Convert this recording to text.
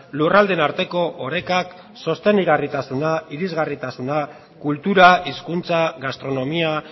lurraldeen arteko orekak sostengarritasuna irisgarritasuna kultura hizkuntza gastronomia